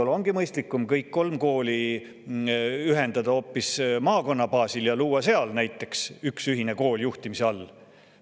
Võib-olla on mõistlikum kõik kolm kooli ühendada hoopis maakonna baasil ja luua seal näiteks üks ühise juhtimise all olev kool.